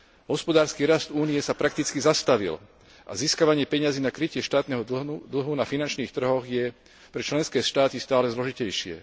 Hospodársky rast Únie sa prakticky zastavil a získavanie peňazí na krytie štátneho dlhu na finančných trhoch je pre členské štáty stále zložitejšie.